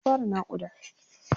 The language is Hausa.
Halima ta fara naƙuda.